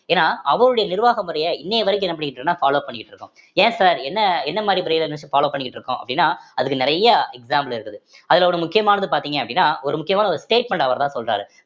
ஏன்னா அவருடைய நிர்வாக முறைய இன்னைய வரைக்கும் என்ன பண்ணிட்டுயிருக்கோம்ன்னா follow பண்ணிட்டு இருக்கோம் ஏன் sir என்ன என்ன மாதிரி follow பண்ணிட்டு இருக்கோம் அப்படின்னா அதுக்கு நிறைய example இருக்குது அதுல ஒரு முக்கியமானது பார்த்தீங்க அப்படின்னா ஒரு முக்கியமான ஒரு statement அவர்தான் சொல்றாரு